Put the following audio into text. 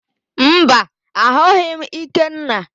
Mba, ahụghị m Ikenna.